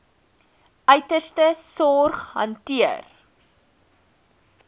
uiterste sorg hanteer